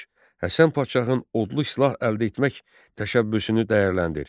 Həsən Padşahın odlu silah əldə etmək təşəbbüsünü dəyərləndir.